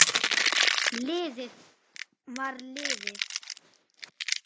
Liðið var liðið.